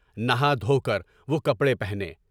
نہا دھو کر وہ کپڑے پہنے۔